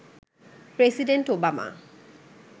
president Obama